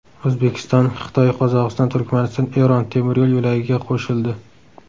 O‘zbekiston Xitoy-Qozog‘iston-Turkmaniston-Eron temir yo‘l yo‘lagiga qo‘shildi.